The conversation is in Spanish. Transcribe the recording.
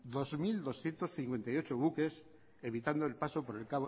dos mil doscientos cincuenta y ocho buques evitando el paso por